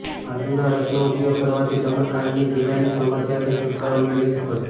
આદુના રસનો ઉપયોગ કરવાથી તમે કાનની પીડાની સમસ્યાથી છૂટકારો મેળવી શકો છો